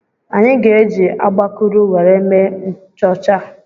Anyị ga-eji agbakụrụ were mee nchọcha.